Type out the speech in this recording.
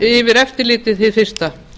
yfir eftirlitið hið fyrsta